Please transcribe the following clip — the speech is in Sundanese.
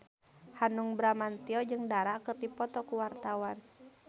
Hanung Bramantyo jeung Dara keur dipoto ku wartawan